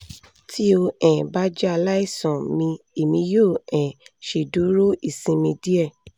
ti o um ba jẹ alaisan mi emi yoo um ṣeduro isinmi diẹ